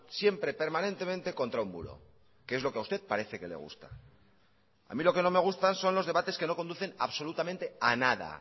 siempre permanentemente contra un muro que es lo que a usted parece que le gusta a mí lo que no me gusta son los debates que no conducen absolutamente a nada